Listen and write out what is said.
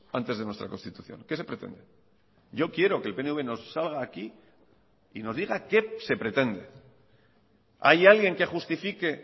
antes de nuestra constitución qué se pretende yo quiero que el pnv nos salga aquí y nos diga qué se pretende hay alguien qué justifique